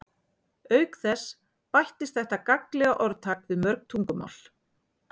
auk þess bættist þetta gagnlega orðtak við mörg tungumál